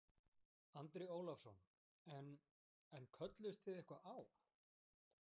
Andri Ólafsson: En, en kölluðust þið eitthvað á?